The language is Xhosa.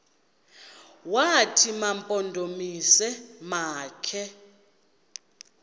wathi mampondomise makhe